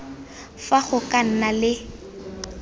fa go ka nna le